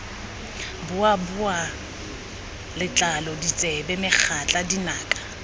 boboa letlalo ditsebe megatla dinaka